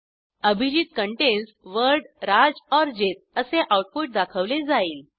Abhijit contains word Raj or Jit असे output दाखवले जाईल